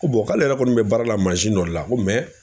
Ko k'ale yɛrɛ kɔni bɛ baara la dɔ la ko